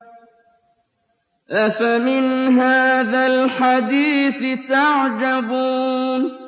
أَفَمِنْ هَٰذَا الْحَدِيثِ تَعْجَبُونَ